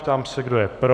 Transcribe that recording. Ptám se, kdo je pro.